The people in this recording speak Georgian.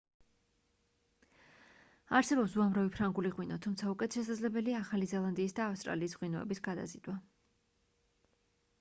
არსებობს უამრავი ფრანგული ღვინო თუმცა უკეთ შესაძლებელია ახალი ზელანდიისა და ავსტრალიის ღვინოების გადაზიდვა